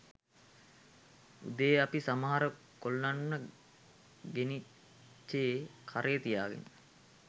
උදේ අපි සමහර කොල්ලන්ව ගෙනිච්චේ කරේ තියාගෙන